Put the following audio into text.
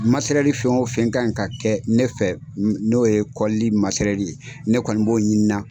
Masɛrɛli fɛn o fɛn ka ɲi ka kɛ ne fɛ n'o ye kɔlili masɛrɛli ne kɔni b'o ɲini na